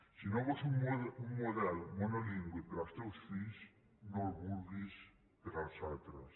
si no vols un model monolingüe per als teus fills no el vulguis per als altres